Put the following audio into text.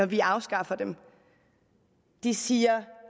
vi afskaffer dem de siger at